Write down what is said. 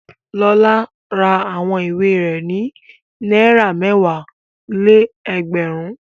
Lọlá ra àwọn ìwé rẹ̀ ní náírà mẹ́wàá-lé-ẹgbẹ̀rún.